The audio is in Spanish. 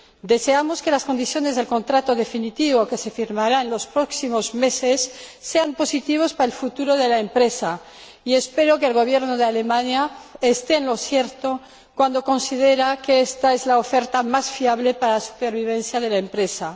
Deseamos que las condiciones del contrato definitivo, que se firmará en los próximos meses, sean positivas para el futuro de la empresa, y espero que el Gobierno de Alemania esté en lo cierto al considerar que ésta es la oferta más fiable para la supervivencia de la empresa.